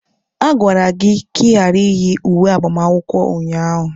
A gwara gị ka ị ghara iyi uwe agbamakwụkwọ a ụnyaahụ!